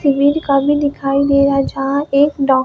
तस्वीर का भी दिखाई दे रहा है यहां एक डॉ--